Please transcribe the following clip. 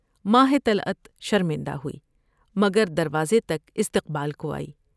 ماہ طلعت شرمندہ ہوئی مگر دروازے تک استقبال کو آئی ۔